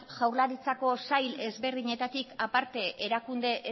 jaurlaritzako sail desberdinetatik aparte erakunde